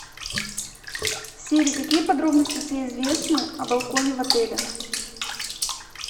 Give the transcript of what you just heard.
сири какие подробности тебе известны о балконе в отеле